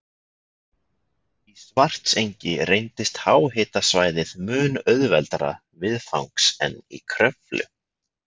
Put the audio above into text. Í Svartsengi reyndist háhitasvæðið mun auðveldara viðfangs en í Kröflu.